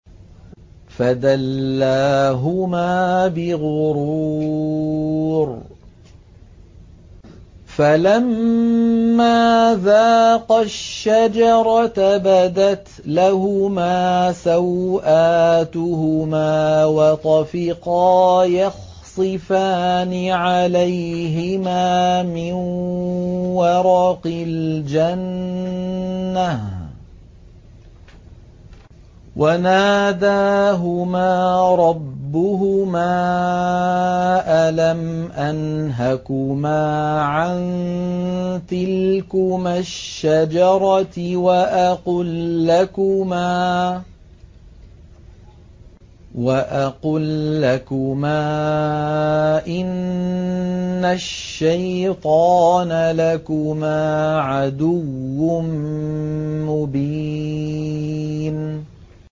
فَدَلَّاهُمَا بِغُرُورٍ ۚ فَلَمَّا ذَاقَا الشَّجَرَةَ بَدَتْ لَهُمَا سَوْآتُهُمَا وَطَفِقَا يَخْصِفَانِ عَلَيْهِمَا مِن وَرَقِ الْجَنَّةِ ۖ وَنَادَاهُمَا رَبُّهُمَا أَلَمْ أَنْهَكُمَا عَن تِلْكُمَا الشَّجَرَةِ وَأَقُل لَّكُمَا إِنَّ الشَّيْطَانَ لَكُمَا عَدُوٌّ مُّبِينٌ